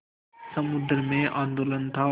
समुद्र में आंदोलन था